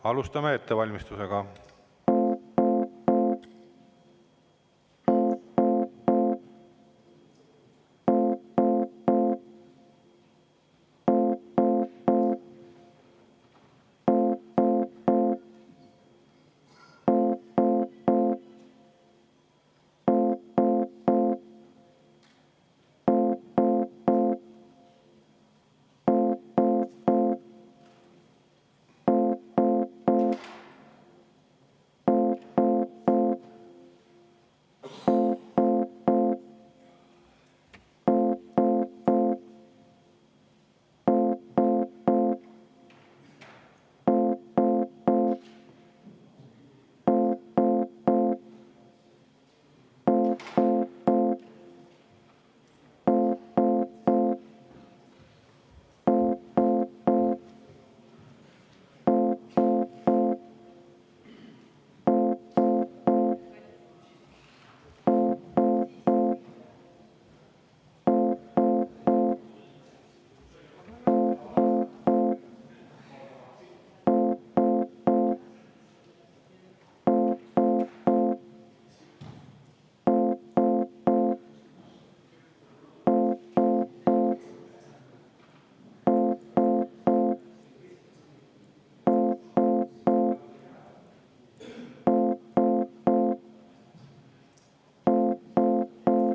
Alustame ettevalmistust.